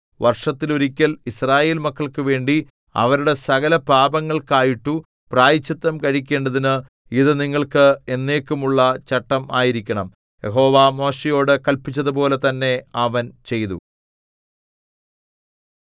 വർഷത്തിൽ ഒരിക്കൽ യിസ്രായേൽമക്കൾക്കുവേണ്ടി അവരുടെ സകലപാപങ്ങൾക്കായിട്ടു പ്രായശ്ചിത്തം കഴിക്കേണ്ടതിന് ഇതു നിങ്ങൾക്ക് എന്നേക്കുമുള്ള ചട്ടം ആയിരിക്കണം യഹോവ മോശെയോടു കല്പിച്ചതുപോലെ തന്നെ അവൻ ചെയ്തു